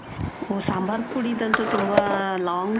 ಓ, ಸಾಂಬಾರ್ ಪುಡಿದಂತು ತುಂಬಾ long